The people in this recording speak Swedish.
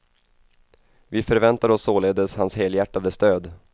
Vi förväntar oss således hans helhjärtade stöd.